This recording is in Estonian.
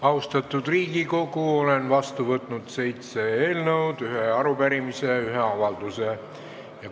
Austatud Riigikogu, olen vastu võtnud seitse eelnõu, ühe arupärimise ja ühe avalduse.